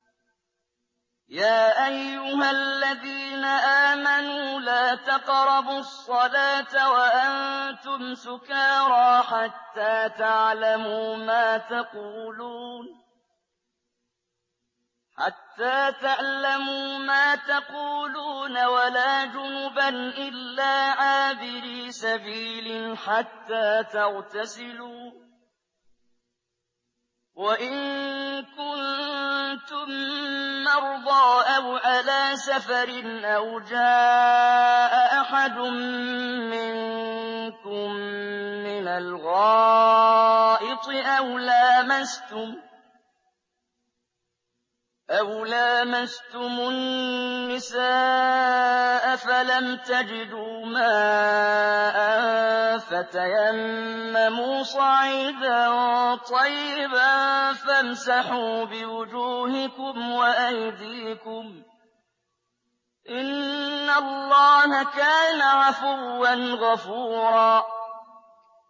يَا أَيُّهَا الَّذِينَ آمَنُوا لَا تَقْرَبُوا الصَّلَاةَ وَأَنتُمْ سُكَارَىٰ حَتَّىٰ تَعْلَمُوا مَا تَقُولُونَ وَلَا جُنُبًا إِلَّا عَابِرِي سَبِيلٍ حَتَّىٰ تَغْتَسِلُوا ۚ وَإِن كُنتُم مَّرْضَىٰ أَوْ عَلَىٰ سَفَرٍ أَوْ جَاءَ أَحَدٌ مِّنكُم مِّنَ الْغَائِطِ أَوْ لَامَسْتُمُ النِّسَاءَ فَلَمْ تَجِدُوا مَاءً فَتَيَمَّمُوا صَعِيدًا طَيِّبًا فَامْسَحُوا بِوُجُوهِكُمْ وَأَيْدِيكُمْ ۗ إِنَّ اللَّهَ كَانَ عَفُوًّا غَفُورًا